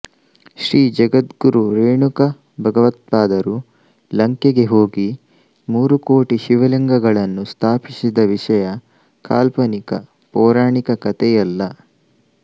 ಶ್ರೀ ಜಗದ್ಗುರು ರೇಣುಕ ಭಗವತ್ಪಾದರು ಲಂಕೆಗೆ ಹೋಗಿ ಮೂರುಕೋಟಿ ಶಿವಲಿಂಗಗಳನ್ನು ಸ್ಥಾಪಿಸಿದ ವಿಷಯ ಕಾಲ್ಪನಿಕ ಪೌರಾಣಿಕ ಕಥೆಯಲ್ಲ